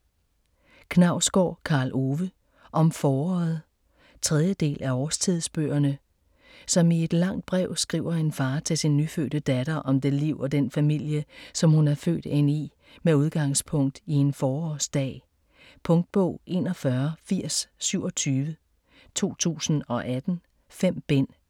Knausgård, Karl Ove: Om foråret 3. del af Årstidsbøgerne. Som i et langt brev skriver en far til sin nyfødte datter om det liv og den familie, som hun er født ind i med udgangspunkt i en forårsdag. Punktbog 418027 2018. 5 bind.